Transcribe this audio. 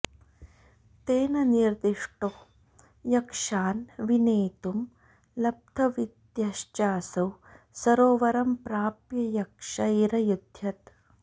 तेन निर्दिष्टो यक्षान् विनेतुं लब्धविद्यश्चासौ सरोवरं प्राप्य यक्षैरयुध्यत